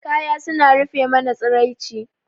Kaya suna rufe mana tsiraici.